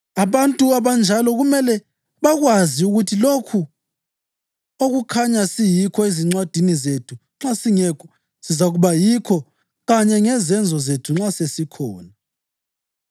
Abantu abanjalo kumele bakwazi ukuthi lokho okukhanya siyikho ezincwadini zethu nxa singekho, sizakuba yikho kanye ngezenzo zethu nxa sesikhona.